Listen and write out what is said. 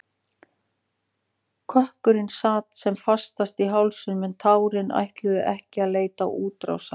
Kökkurinn sat sem fastast í hálsinum en tárin ætluðu ekki að leita útrásar.